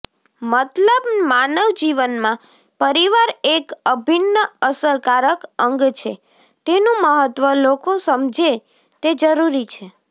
મતલબ માનવજીવનમાં પરિવાર એક અભિન્ન અસરકારક અંગ છે તેનું મહત્ત્વ લોકો સમજે તે જરૂરી છે